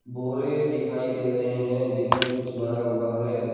बोरे दिखाई दे रहे हैं जिसमें कुछ भरा हुआ है।